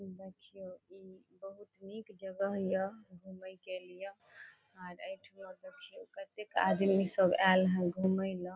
घुमैत ह ई बहुत नेक जगह हिय घूमे के लिए और प्रत्येक आदमी सब आएल हं घूमे ला।